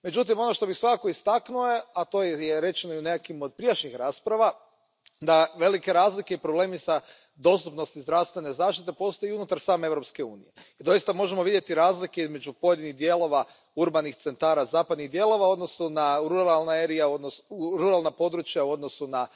Međutim, ono što bih svakako istaknuo je, a to je rečeno i u nekima od prijašnjih rasprava, da velike razlike i problemi s dostupnosti zdravstvene zaštite postoje i unutar same Europske unije. I doista možemo vidjeti razlike između pojedinih dijelova urbanih centara zapadnih dijelova u odnosu na ruralna područja, u odnosu na